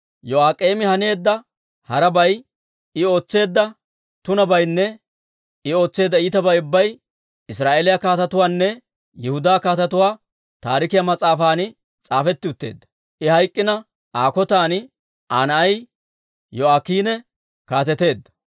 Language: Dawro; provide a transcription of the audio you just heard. Yo'aak'eemi haneedda harabay, I ootseedda tunabaynne I ootseedda iitabay ubbay Israa'eeliyaa Kaatetuunne Yihudaa Kaatetuu Taarikiyaa mas'aafan s'aafetti utteedda. I hayk'k'ina, Aa kotan Aa na'ay Yo'aakiine kaateteedda.